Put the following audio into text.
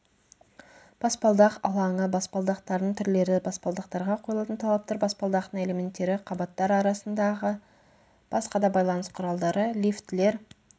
баспалдақ алаңы баспалдақтардың түрлері баспалдақтарға қойылатын талаптар баспалдақтың элементтері қабаттар арасындағы басқа да байланыс құралдары лифтілер